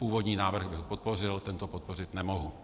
Původní návrh bych podpořil, tento podpořit nemohu.